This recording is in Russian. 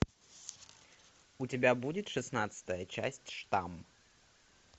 у тебя будет шестнадцатая часть штамм